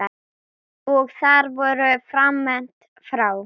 Og þar voru farmenn frá